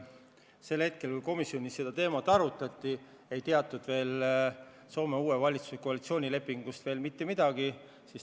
Sel päeval, kui komisjonis seda teemat arutati, ei teatud Soome uue valitsuse koalitsioonilepingust veel mitte midagi.